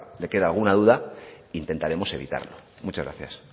le queda alguna duda intentaremos evitarlo muchas gracias